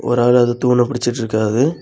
ஒரு ஆளு அத தூண புடிச்சிட்டு இருக்காஹ.